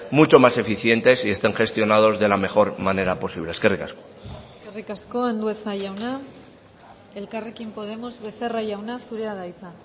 mucho más eficientes y estén gestionados de la mejor manera posible eskerrik asko eskerrik asko andueza jauna elkarrekin podemos becerra jauna zurea da hitza